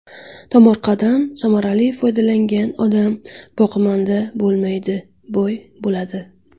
Tomorqadan samarali foydalangan odam boqimanda bo‘lmaydi, boy bo‘ladi.